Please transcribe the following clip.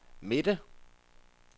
midte